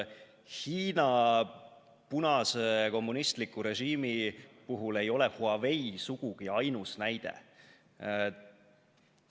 Hiina punase kommunistliku režiimi puhul ei ole Huawei sugugi ainus näide.